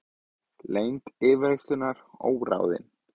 Lengd yfirheyrslunnar óráðin